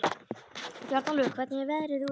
Bjarnólfur, hvernig er veðrið úti?